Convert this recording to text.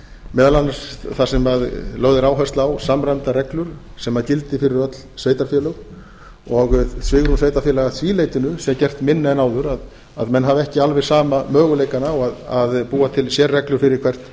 meðal annars þar sem lögð er áhersla á samræmdar reglur sem gildi fyrir öll sveitarfélög og svigrúm sveitarfélaga að því leytinu sé gert minna en áður að menn hafa ekki alveg sama möguleikann á að búa til sérreglur fyrir hvert